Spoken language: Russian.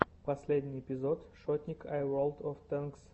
последний эпизод шотник ай волд оф тэнкс